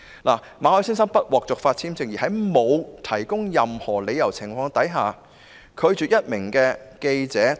就馬凱先生不獲續發簽證一事，當局在未有提供任何理由的情況下拒絕這名記者到港。